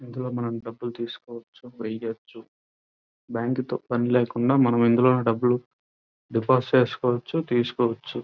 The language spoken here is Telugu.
ఇందులో మనం డబ్బులు తీస్కోవచ్చు వేయవచ్చు. బ్యాంకు తో పని లేకుండా మనం ఇందులో డబ్బులు డిపాజిట్ చేస్కోవచ్చు తీసుకోవచ్చు.